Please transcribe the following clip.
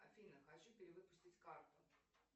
афина хочу перевыпустить карту